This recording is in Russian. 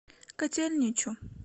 котельничу